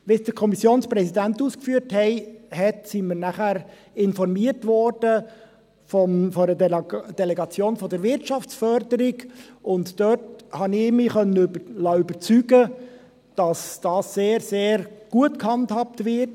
Wie es der Kommissionspräsident ausgeführt hat, wurden wir danach von einer Delegation der Wirtschaftsförderung informiert, und dabei konnte ich mich überzeugen lassen, dass dies sehr, sehr gut gehandhabt wird.